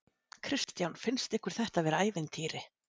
Kristján: Finnst ykkur þetta vera ævintýri?